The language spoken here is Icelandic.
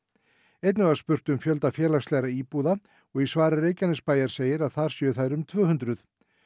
einnig var spurt um fjölda félagslegra íbúða og í svari Reykjanesbæjar segir að þar séu þær um tvö hundruð